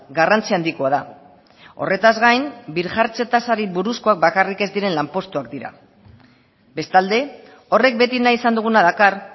garrantzi handikoa da horretaz gain birjartze tasari buruzkoak bakarrik ez diren lanpostuak dira bestalde horrek beti nahi izan duguna dakar